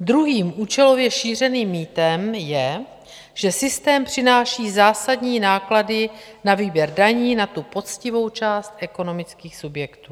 Druhým účelově šířeným mýtem je, že systém přináší zásadní náklady na výběr daní za tu poctivou část ekonomických subjektů.